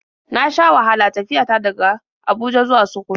Na sha wahala tafiya ta daga Abuja zuwa Sakkwato.